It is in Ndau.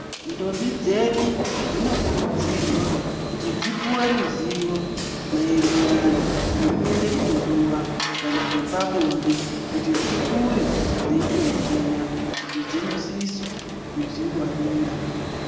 Ndombi dzedu dzinokurudzirwa kuti dzipuwe ruzivo maererano ngekuenda kunguwa kana zvepabonde kuti dzikure dzeitoziya kuti dzinosisa kudzingwarira.